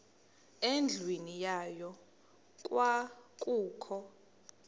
endlwini yayo kwakukho